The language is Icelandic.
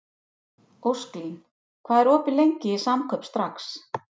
Ósklín, hvað er opið lengi í Samkaup Strax?